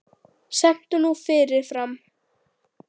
Stend nú fyrir framan hana.